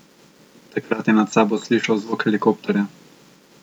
Takrat je nad sabo slišal zvok helikopterja.